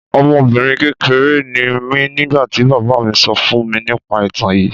Ọmọbinrin kekere ni mi nigbati baba mi sọ fun mi nipa itan yii